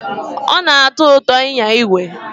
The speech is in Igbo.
Ọ na-atọ ụtọ ịnya igwe.